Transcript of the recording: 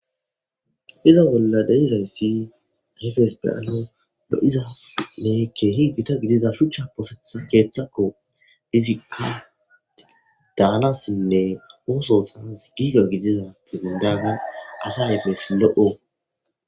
Iza bolla deirayssi hefes beyalo lo'izanne keehi gita gidida shuchcha poosetha keeththakko dizikad daanassinne ooso oxanas giiga gidida xibindaga asa efes lo'o.